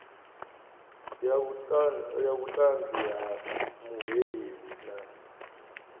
ya vhutanzi ha muhweleli na